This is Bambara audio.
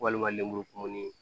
Walima lemuru kumuni